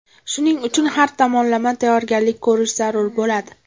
Shuning uchun har tomonlama tayyorgarlik ko‘rish zarur bo‘ladi.